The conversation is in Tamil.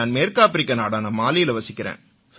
நான் மேற்கு ஆப்பிரிக்க நாடான மாலியில வசிக்கறேன்